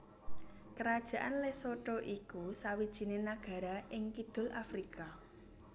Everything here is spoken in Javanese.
Kerajaan Lesotho iku sawijiné nagara ing kidul Afrika